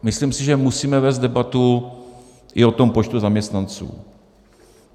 Myslím si, že musíme vést debatu i o tom počtu zaměstnanců.